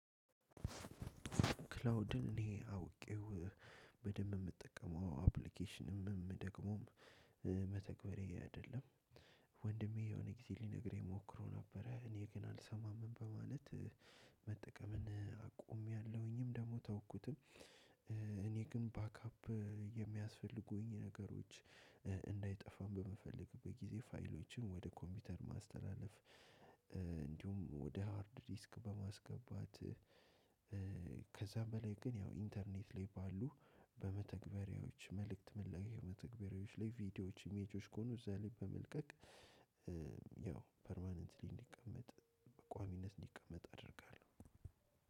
ክላውድን እኔ አውቄው በደንብ ምጠቀመው አፕሊኬሽንም ደግሞም መተግበሪያዬ አይደለም። ወንድሜ የሆነ ጊዜ ሊነግረኝ ሞክሮ ነበረ እኔ ግን አልሰማም በማለት። መጠቀምን አቆምያለሁኝም ደግሞ ተውኩትም። እኔ ግን ባክአፕ የሚያስፈልጉኝ ነገሮች እንዳይጠፋም በምፈልግበት ጊዜ ፋይሎችን ወደ ኮምፒውተር ማስተላለፍ እንዲሁም ወደ ሃርድ ዲስክ በማስገባት። ከዛ በላይ ግን ያው ኢንተርኔት ላይ ባሉ በመተግበሪያዎች መልእክት መለወጥ መተግበሪያዎች ላይ ቪዲዮዎች ኢሜጆች ከሆኑ እዛ ላይ በመልቀቅ። ያው ፐርማነንትሊ እንዲቀመጥ በቋሚነት እንዲቀመጥ አደርጋለሁ።